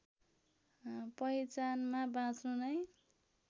पहिचानमा बाँच्नु नै